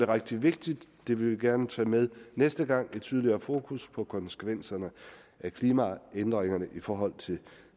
rigtig vigtigt det vil vi gerne tage med næste gang med et tydeligere fokus på konsekvenserne af klimaændringerne i forhold til